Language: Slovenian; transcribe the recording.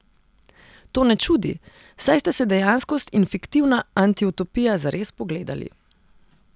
To ne čudi, saj sta se dejanskost in fiktivna antiutopija zares spogledali.